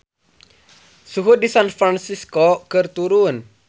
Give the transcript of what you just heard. Suhu di San Fransisco keur turun